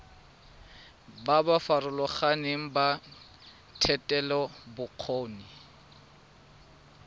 ba ba farologaneng ba thetelelobokgoni